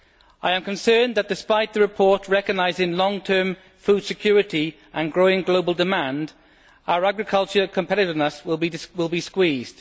I am concerned that, despite the report recognising long term food security and growing global demand, our agricultural competitiveness will be squeezed.